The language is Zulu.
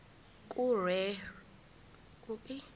kuregistrar of gmos